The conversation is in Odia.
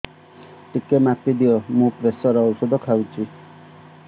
ଟିକେ ମାପିଦିଅ ମୁଁ ପ୍ରେସର ଔଷଧ ଖାଉଚି